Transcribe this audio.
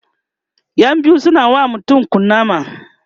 ƴan biyu suna wa mutum kunama